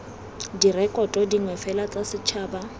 direkoto dingwe fela tsa setšhaba